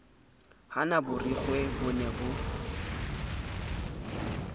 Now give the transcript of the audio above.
hana borikgwe bo ne bo